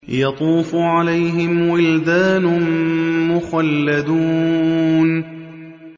يَطُوفُ عَلَيْهِمْ وِلْدَانٌ مُّخَلَّدُونَ